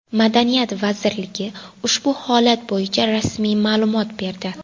Madaniyat vazirligi ushbu holat bo‘yicha rasmiy ma’lumot berdi .